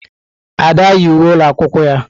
Ada yi uwe ụlọ akwụkwọ ya.